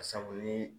Ka sabu ni